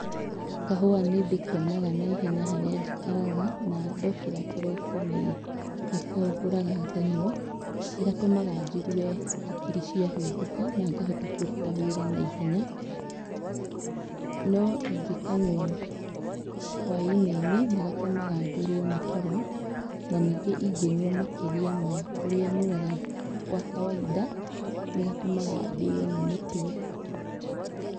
Kahũa nĩndĩkonaga na ihenya harĩa njikaraga, na ndokĩra kĩroko nĩ nĩko ngũraga nganyua. Nĩ gatũmaga njigue hakiri ciahingũka na ngahota kũruta wĩra na ihenya. No ingĩkanyua hwainĩ-inĩ, nĩgatũmaga njũrwo nĩ toro, na ningĩ ingĩnyua makĩria ma ũrĩa nyuaga gwa kawainda, nĩgatũmaga ndĩyo nĩ mũtwe